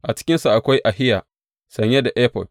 A cikinsu akwai Ahiya sanye da efod.